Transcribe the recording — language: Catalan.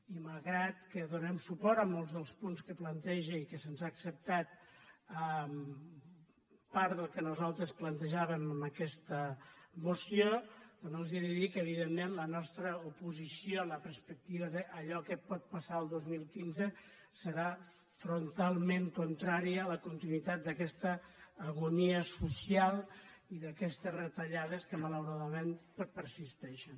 i malgrat que donem suport a molts dels punts que planteja i que se’ns ha acceptat part del que nosaltres plantejàvem en aquesta moció també els he de dir que evidentment la nostra oposició a la perspectiva d’allò que pot pas·sar el dos mil quinze serà frontalment contrària a la continuï·tat d’aquesta agonia social i d’aquestes retallades que malauradament persisteixen